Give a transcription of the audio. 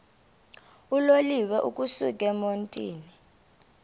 uloliwe ukusuk emontini